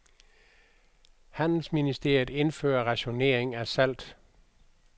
Handelsministeriet indfører rationering af salt.